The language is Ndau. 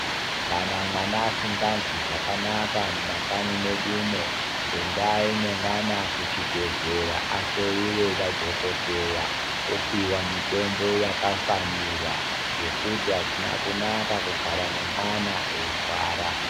Kana mwana asingazwi zvakanaka mumakanyimedumo endai ne mwana kuchibhehlera ahloiwe nadhokodheya opiwa mutombo yakafanira nekuti azvina kunaka kungogara nemwana eirwara.